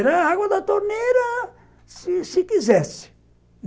Era água da torneira, se se quisesse.